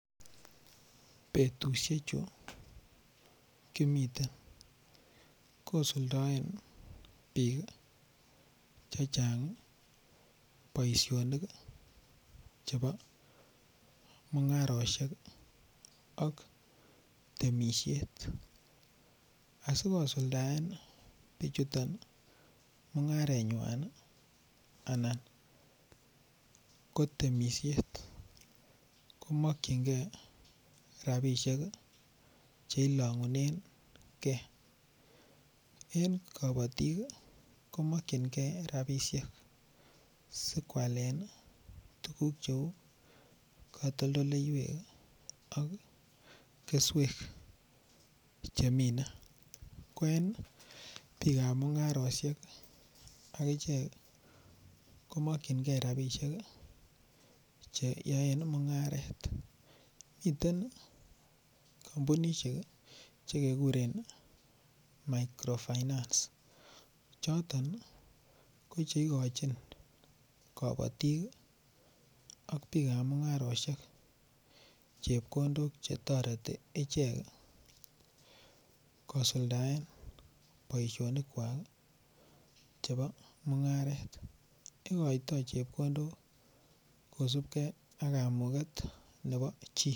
Betusiechu kimiten kosuldaen bik Che Chang boisionik chebo mungarosiek ak temisiet asi kosuldaen bichuton mungarenywan anan ko temisiet ko mokyingei rabisiek Che ilongunengei en kabatik ko mokyingei rabisiek si koalen tuguk cheu katoldoleywek ak keswek chemine ko en bikap mungarosiek agichek ko mokyingei rabisiek Che yoen mungaret miten kampunisiek Che kekuren microfinance choton ko che igochin kabatik ak bikap chepkondok Che toreti ichek kosuldaen boisinik kwak chebo mungaret igoitoi chepkondok kosubge ak kamuget nebo chi